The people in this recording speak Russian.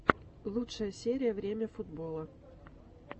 лучшая серия время футбола